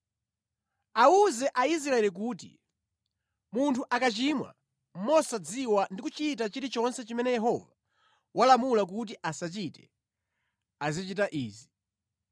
“Awuze Aisraeli kuti, ‘Munthu akachimwa mosadziwa ndi kuchita chilichonse chimene Yehova walamula kuti asachite, azichita izi: